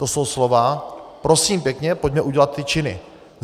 To jsou slova, prosím pěkně, pojďme udělat ty činy.